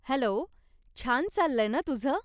Hello, छान चाललंय न तुझं ?